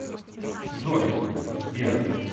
джой сбер